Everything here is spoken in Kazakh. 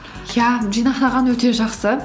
иә жинақтаған өте жақсы